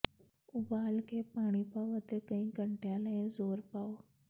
ਉਬਾਲ ਕੇ ਪਾਣੀ ਪਾਓ ਅਤੇ ਕਈ ਘੰਟਿਆਂ ਲਈ ਜ਼ੋਰ ਪਾਓ